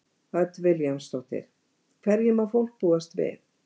Hödd Vilhjálmsdóttir: Hverju má fólk búast við?